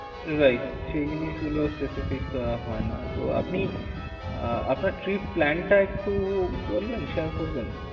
Right. সেই জিনিস গুলো specific তো আর হয়না। তো আপনি আহ আপনার trip plan টা একটু বলবেন, share করবেন।